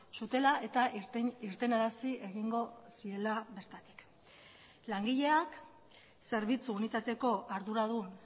zutela eta irtenarazi egingo ziela bertatik langileak zerbitzu unitateko arduradun